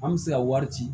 An bɛ se ka wari ci